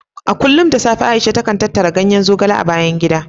A kullum da safe Aisha takan tattara ganyen zogale a bayan gida.